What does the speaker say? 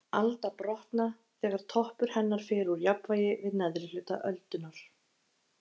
Alda brotna þegar toppur hennar fer úr jafnvægi við neðri hluta öldunnar.